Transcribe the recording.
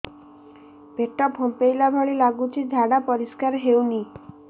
ପେଟ ଫମ୍ପେଇଲା ଭଳି ଲାଗୁଛି ଝାଡା ପରିସ୍କାର ହେଉନି